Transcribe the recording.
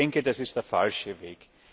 Ich denke, das ist der falsche Weg.